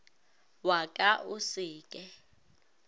wa ka o se ke